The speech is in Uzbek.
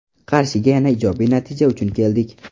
Qarshiga yana ijobiy natija uchun keldik.